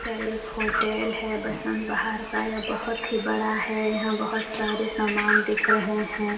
यह एक होटल है वसंत बहार का यह बहुत ही बड़ा है यहाँ बहुत सारे सामान दिख रहें हैं।